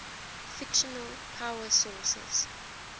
fictional power sources